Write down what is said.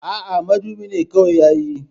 Aa, madubin kawai yayi